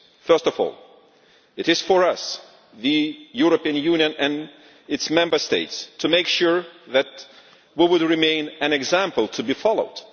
First of all, it is for us, the European Union and its Member States, to make sure that we will remain an example to be followed.